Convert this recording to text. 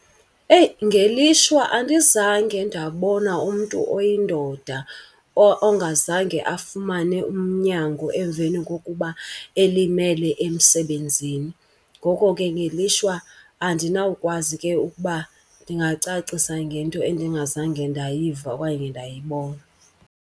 Eyi ngelishwa andizange ndabona umntu oyindoda ongazange afumane unyango emveni kokuba elimele emsebenzini. Ngoko ke ngelishwa andinawukwazi ke ukuba ndingacacisa ngento endingazange ndayiva okanye ndayibona.